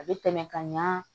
A bɛ tɛmɛ ka ɲa